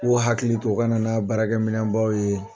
Ko hakili to o ka nana baarakɛ minbaw ye